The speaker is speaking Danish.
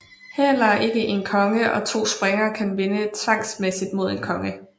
Heller ikke en konge og to springere kan vinde tvangsmæssigt mod en konge